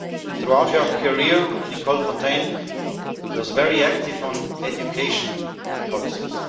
Throughout her career, Nicole Fontaine was very active in education policies.